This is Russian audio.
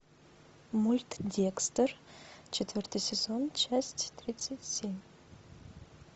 мульт декстер четвертый сезон часть тридцать семь